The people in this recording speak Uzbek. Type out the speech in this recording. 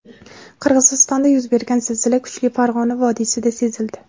Qirg‘izistonda yuz bergan zilzila kuchi Farg‘ona vodiysida sezildi.